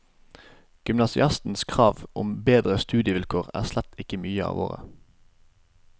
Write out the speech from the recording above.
Gymnasiastenes krav om bedre studievilkår er slett ikke nye av året.